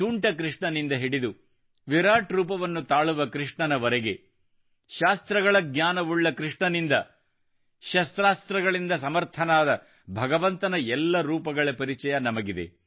ತುಂಟ ಕೃಷ್ಣನಿಂದ ಹಿಡಿದು ವಿರಾಟ ರೂಪವನ್ನು ತಾಳುವ ಕೃಷ್ಣನವರೆಗೆ ಶಾಸ್ತ್ರಗಳ ಜ್ಞಾನವುಳ್ಳ ಕೃಷ್ಣನಿಂದ ಶಸ್ತ್ರಾಸ್ತ್ರಗಳಿಂದ ಸಮರ್ಥನಾದ ಭಗವಂತನ ಎಲ್ಲ ರೂಪಗಳ ಪರಿಚಯ ನಮಗಿದೆ